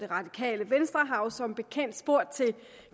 radikale venstre har jo som bekendt spurgt til